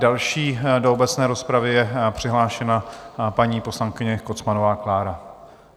Další do obecné rozpravy je přihlášena paní poslankyně Kocmanová Klára.